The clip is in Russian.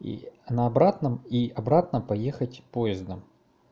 и на обратном и обратно поехать поездом